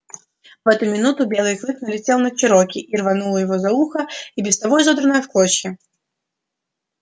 в эту минуту белый клык налетел на чероки и рванув его за ухо и без того изодранное в клочья